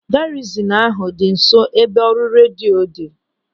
Garizin ahụ dị nso ebe ọrụ redio dị.